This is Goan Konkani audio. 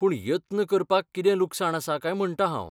पूण यत्न करपाक कितें लुकसाण आसा काय म्हणटां हांव.